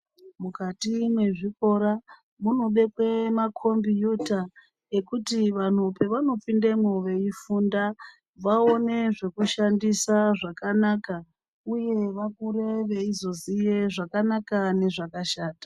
Mukati mezvikora munobekwe makombiyuta ekuti vanhu pevanopindemwo veifunda vaone zvekushandisa zvakanaka uye vakure veizoziya zvakanaka nezvakashata.